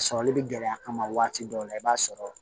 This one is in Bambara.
Sɔrɔli bɛ gɛlɛya kama waati dɔw la i b'a sɔrɔ